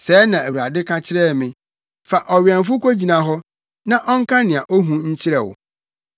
Sɛɛ na Awurade ka kyerɛ me: “Fa ɔwɛmfo kogyina hɔ na ɔnka nea ohu nkyerɛ wo.